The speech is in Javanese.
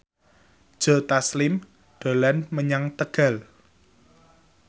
Joe Taslim dolan menyang Tegal